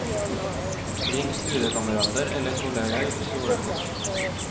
Ring studiekamerater eller kolleger du stoler på.